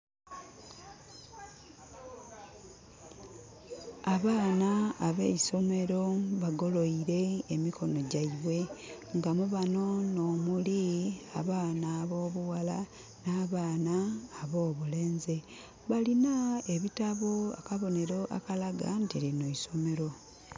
Abaana abeisomero bagoloire emikono gyaibwe nga mubano no muli abaana abo bughala n' abaana abo bulenzi. Balina ebitabo kabonero akalaga nti lino isomero